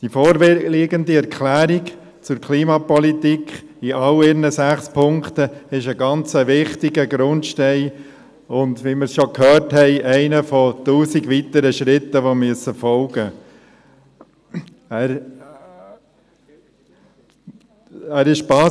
Die vorliegende Erklärung zur Klimapolitik ist in all ihren sechs Punkten ein ganz wichtiger Grundstein und – wie wir schon gehört haben – einer von tausend weiteren Schritten, die folgen müssen.